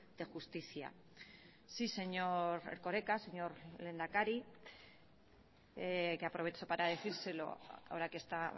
de justicia sí señor erkoreka señor lehendakari que aprovecho para decírselo ahora que está